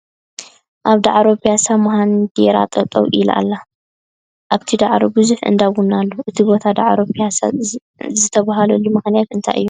ኣብ ዳዕሮ ብያሳ መሃንድራ ጠጠው ኢላ ኣላ ። ኣብቲ ዳዕሮ ብዙሕ እንዳ ቡና ኣሎ ። እቲ ቦታ ዳዕሮ ብያሳ ዝትበሃለሉ መክንያት እንታይ እዩ ?